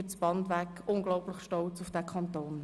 Alle sind durchwegs unglaublich stolz auf diesen Kanton.